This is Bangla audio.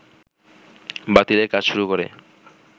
বাতিলের কাজ শুরু করে